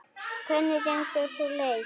Hvernig gengur sú leit?